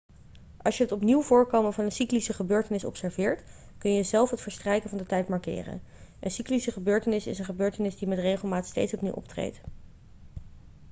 als je het opnieuw voorkomen van een cyclische gebeurtenis observeert kun je zelf het verstrijken van de tijd markeren een cyclische gebeurtenis is een gebeurtenis die met regelmaat steeds opnieuw optreedt